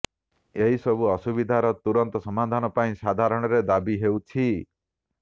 ଏହି ସବୁ ଅସୁବିଧାର ତୁରନ୍ତ ସମାଧାନ ପାଇଁ ସାଧାରଣରେ ଦାବି ହେଉଛି